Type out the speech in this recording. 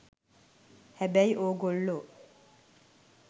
හැබැයි ඕගොල්ලෝ